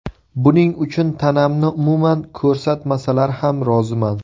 Buning uchun tanamni umuman ko‘rsatmasalar ham roziman.